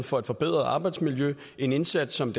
for at forbedre arbejdsmiljøet en indsats som